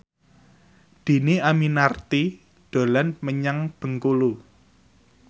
Dhini Aminarti dolan menyang Bengkulu